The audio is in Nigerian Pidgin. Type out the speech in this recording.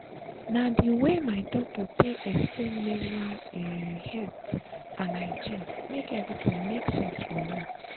na the way my doctor take explain menstrual um health and hygiene make everything make sense for me.